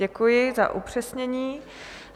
Děkuji za upřesnění.